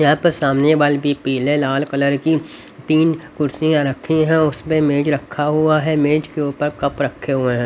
यहां पर सामने बल भी पीले लाल कलर की तीन कुर्सियां रखी है उसमें मेज रखा हुआ है मेज के ऊपर कप रखे हुए हैं.